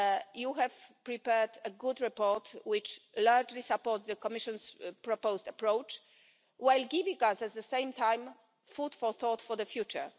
You have prepared a good report, which largely supports the Commission's proposed approach, while at the same time giving us food for thought for the future.